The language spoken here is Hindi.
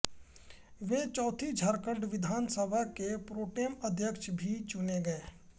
वो चौथी झारखण्ड विधान सभा के प्रोटेम अध्यक्ष भी चुने गये